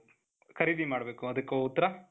ಖರೀದಿ ಮಾಡ್ಬೇಕು ಅದಕ್ಕೆ ಉತ್ತರ ?